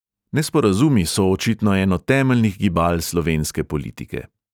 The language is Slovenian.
Nesporazumi so očitno eno temeljnih gibal slovenske politike.